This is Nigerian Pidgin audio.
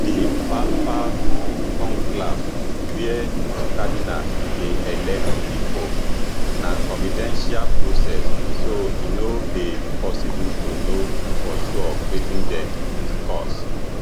di papal conclave wia cardinals dey elect di pope na confidential process so e no dey possible to know for sure wetin dem discuss